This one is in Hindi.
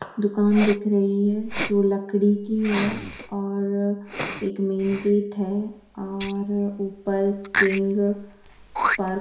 दुकान दिख रही है जो लकड़ी की है और एक मैन गेट है और ऊपर किंग पार्क--